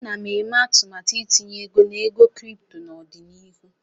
Ana m eme atụmatụ itinye ego na ego kripto n'ọdịnihu.